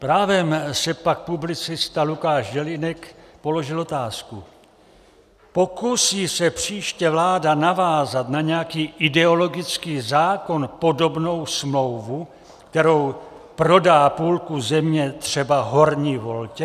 Právem si pak publicita Lukáš Jelínek položil otázku: Pokusí se příště vláda navázat na nějaký ideologický zákon podobnou smlouvu, kterou prodá půlku země třeba Horní Voltě?